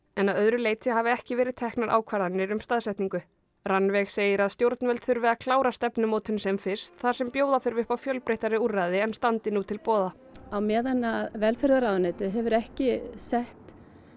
en að öðru leyti hafi ekki verið teknar ákvarðarnir um staðsetningu Rannveig segir að stjórnvöld þurfi að klára stefnumótun sem fyrst þar sem bjóða þurfi upp á fjölbreyttari úrræði en standi nú til boða á meðan velferðarráðuneytið hefur ekki sett